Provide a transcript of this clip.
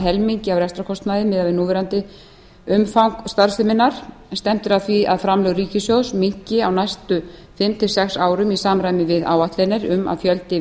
helmingi af rekstrarkostnaði miðað við núverandi umfang starfseminnar stefnt er að því að framlög ríkissjóðs minnki á næstu fimm til sex árum í samræmi við áætlanir um að fjöldi